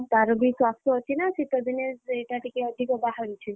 ତାର ବିଶ୍ୱାସ ଅଛି ନା ଶୀତ ଦିନେ ସେଇଟା ଟିକେ ଅଧିକ ବାହାରୁଛି।